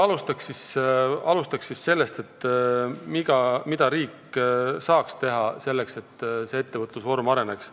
Alustan sellest, mida saaks riik teha selleks, et see ettevõtlusvorm areneks.